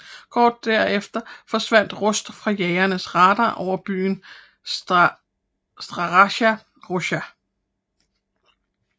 Kort derefter forsvandt Rust fra jagernes radar over byen Staraja Russa